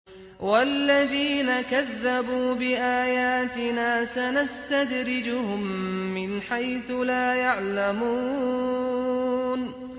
وَالَّذِينَ كَذَّبُوا بِآيَاتِنَا سَنَسْتَدْرِجُهُم مِّنْ حَيْثُ لَا يَعْلَمُونَ